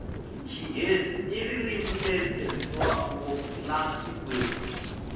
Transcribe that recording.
xinghezi hi ririmi leri tirhiswa ngopfu lana tikweni